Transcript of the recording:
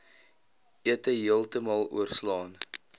ete heeltemal oorslaan